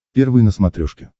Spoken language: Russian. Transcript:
первый на смотрешке